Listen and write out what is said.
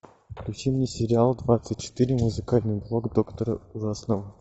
включи мне сериал двадцать четыре музыкальный блог доктора ужасного